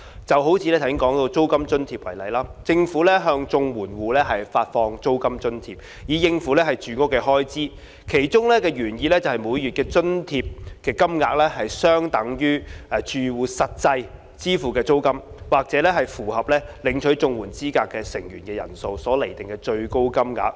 以剛才提到的租金津貼為例，政府向綜援戶發放租金津貼以應付住屋開支，其原意是每月津貼金額相等於住戶實際支付的租金，或按符合領取綜援資格的住戶成員人數所釐定的最高金額。